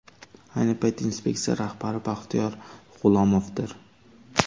Ayni paytda inspeksiya rahbari Baxtiyor G‘ulomovdir.